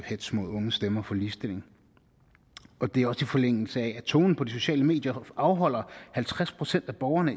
hetz mod unge stemmer for ligestilling og det er også i forlængelse af at tonen på de sociale medier afholder halvtreds procent af borgerne